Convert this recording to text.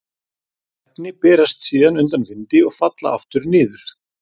Þessi efni berast síðan undan vindi og falla aftur niður.